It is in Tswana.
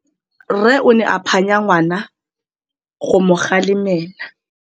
Rre o ne a phanya ngwana go mo galemela.